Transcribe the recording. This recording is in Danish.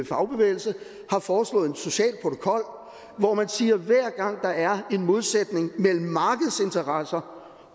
fagbevægelse har foreslået en social protokol hvor man siger at hver gang der er en modsætning mellem markedets interesser